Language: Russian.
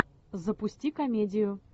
запусти комедию